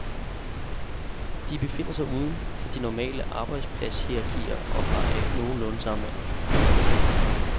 De befinder sig uden for de normale arbejdspladshierarkier og har alle nogenlunde samme alder.